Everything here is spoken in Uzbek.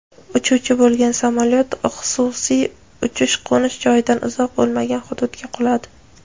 uchuvchi bo‘lgan samolyot xususiy uchish-qo‘nish joyidan uzoq bo‘lmagan hududga quladi.